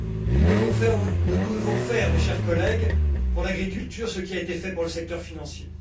Nous devons faire, mes chers collègues, pour l'agriculture ce qui a été fait pour le secteur financier.